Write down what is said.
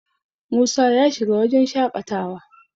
Musa ya shiga wajen shaƙatawa